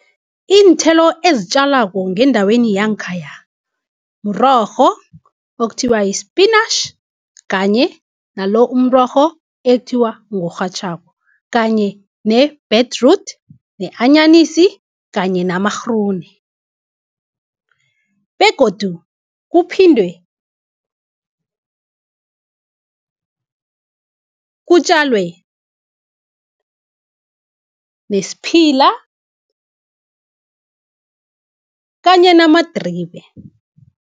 Iinthelo ezitjalako ngendaweni yangkhaya mrorho okuthiwa yispinatjhi, kanye nalo umrorho ekuthiwa ngorhatjhako , kanye ne-betroot, ne-anyanisi kanye namagrune begodu kuphindwe kutjalwe nesiphila kanye namadribe.